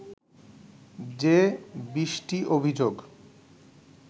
যে বিশটি অভিযোগ